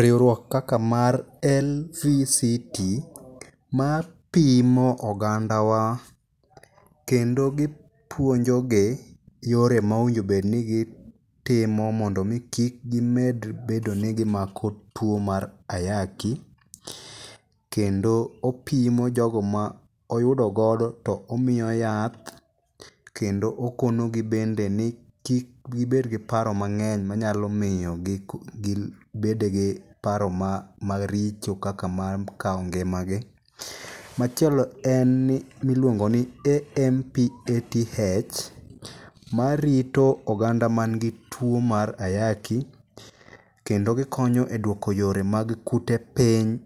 Riwriok kaka mar LVCT mapimo oganda wa kendo gipuonjogi yore ma owinjo bed ni gitimo mondo kik mi gimed bedo ni gimako tuo mar ayaki. Kendo opimo jogo ma oyudogodo to omiyo yath. Kendo okonogi bende ni ki gibed gi paro mang'eny manyalo miyo gi gibed gi paro maricho kaka mar kawo ngima gi. Machielo en ni miliongo ni AMPATH marito oganda man gi tuo mar ayaki. Kendo gikonyo e duoko yore kag kute piny.